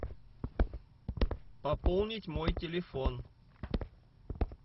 пополнить мой телефон